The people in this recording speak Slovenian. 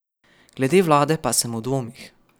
Glede vlade pa sem v dvomih.